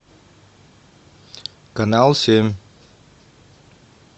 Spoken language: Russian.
канал семь